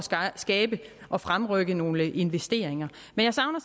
skabe og fremrykke nogle investeringer men jeg savner